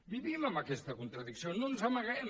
vivim amb aquesta contradicció no ens n’amaguem